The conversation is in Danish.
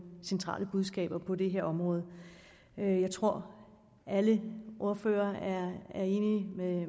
centrale budskaber på dette område jeg tror alle ordførere er enige